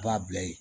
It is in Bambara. A b'a bila yen